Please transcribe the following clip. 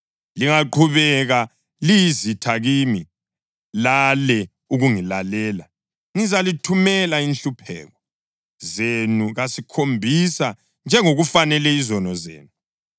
Lingaqhubeka liyizitha kimi, lale ukungilalela, ngizalithumela inhlupheko zenu kasikhombisa njengokufanele izono zenu.